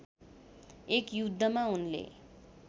एक युद्धमा उनले